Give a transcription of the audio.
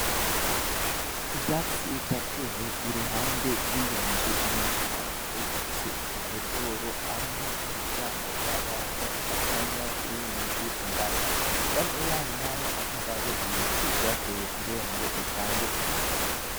Ivyatsi vyatewe iruhande y'iyo nzu, iyo nzu, naho ikaba ifise udukoridoro hamwe n'imiryango abantu bacamwo iyo binjiye indani, iruhande yayo naho hakaba hariyo ibiti vyatewe kubera ngo bitange akayaga.